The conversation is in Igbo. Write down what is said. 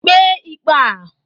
Kpee ikpe a.